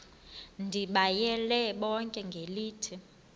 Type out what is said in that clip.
ndibayale bonke ngelithi